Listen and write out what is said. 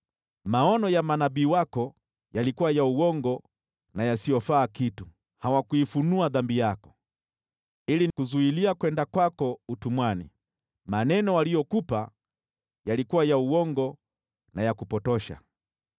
Maono ya manabii wako yalikuwa ya uongo na yasiyofaa kitu, hawakuifunua dhambi yako ili kukuzuilia kwenda utumwani. Maneno waliyokupa yalikuwa ya uongo na ya kupotosha.